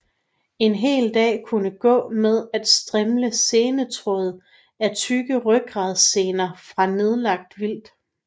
En hel dag kunne gå med at strimle senetråd af tykke rygradssener fra nedlagt vildt